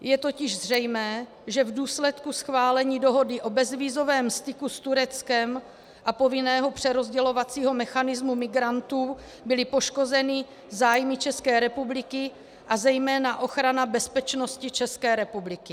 Je totiž zřejmé, že v důsledku schválení dohody o bezvízovém styku s Tureckem a povinného přerozdělovacího mechanismu migrantů byly poškozeny zájmy České republiky a zejména ochrana bezpečnosti České republiky.